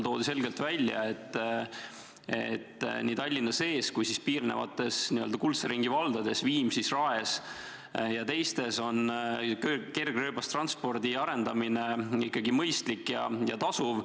Toodi selgelt välja, et nii Tallinna sees kui temaga piirnevates n-ö kuldse ringi valdades on kergrööbastranspordi arendamine mõistlik ja tasuv.